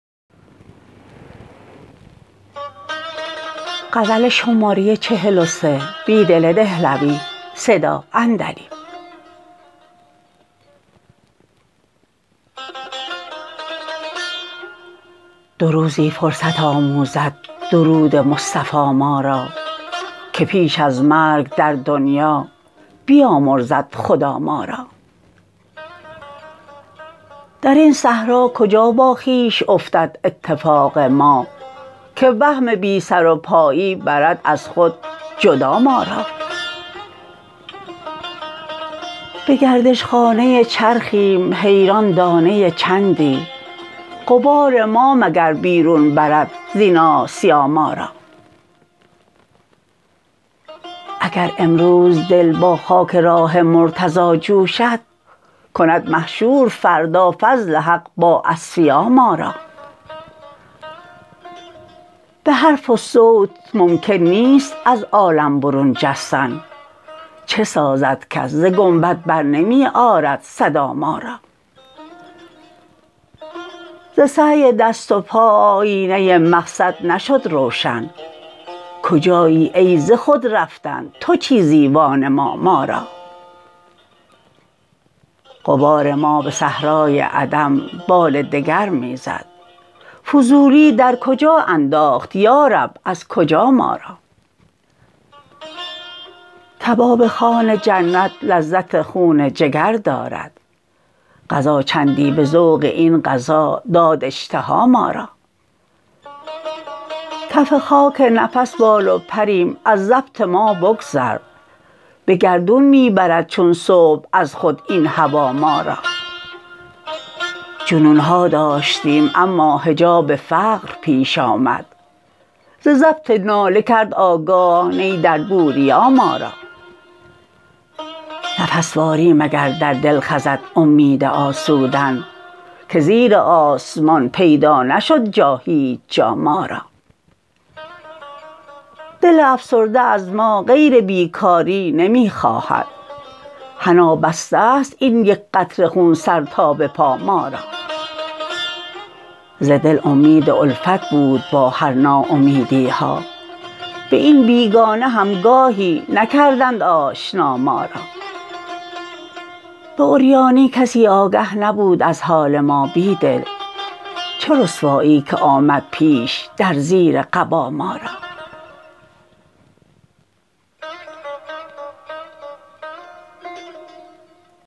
دو روزی فرصت آموزد درود مصطفا ما را که پیش از مرگ در دنیا بیامرزد خدا ما را در این صحرا کجا با خویش افتد اتفاق ما که وهم بی سر و پایی برد از خود جدا ما را به گردش خانه چرخیم حیران دانه چندی غبار ما مگر بیرون برد زین آسیا ما را اگر امروز دل با خاک را ه مرتضی جوشد کند محشور فردا فضل حق با اصفیا ما را به حرف و صوت ممکن نیست از عالم برون جستن چه سازد کس ز گنبد برنمی آرد صدا ما را ز سعی دست و پا آیینه مقصد نشد روشن کجایی ای ز خود رفتن تو چیزی وانما ما را غبار ما به صحرای عدم بال دگر می زد فضولی در کجا انداخت یا رب از کجا ما را کباب خوان جنت لذت خون جگر دارد قضا چندی به ذوق این غذا داد اشتها ما را کف خاک نفس بال و پریم از ضبط ما بگذر به گردون می برد چون صبح از خود این هوا ما را جنون ها داشتیم اما حجاب فقر پیش آمد ز ضبط ناله کرد آگاه نی در بوربا ما را نفس واری مگر در دل خزد امید آسودن که زیر آسمان پیدا نشد جا هیچ جا ما را دل افسرده از ما غیر بیکاری نمی خواهد حنا بسته است این یک قطره خون سر تا به پا ما را ز دل امید الفت بود با هر ناامیدی ها به این بیگانه هم گاهی نکردند آشنا ما را به عریانی کسی آگه نبود از حال ما بیدل چه رسوایی که آمد پیش در زیر قبا ما را